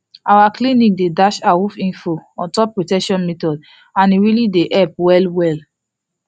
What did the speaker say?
our clinic dey dash awoof info on top protection methods and e really dey help well well